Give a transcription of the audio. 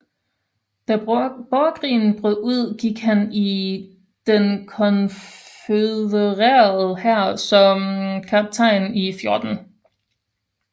Da borgerkrigen brød ud gik han ind i den konfødererede hær som kaptajn i 14